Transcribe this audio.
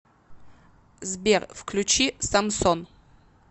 сбер включи самсон